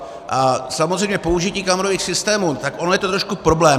A samozřejmě použití kamerových systémů, tak ono je to trošku problém.